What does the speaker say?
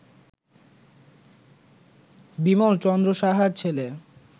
বিমল চন্দ্র সাহার ছেলে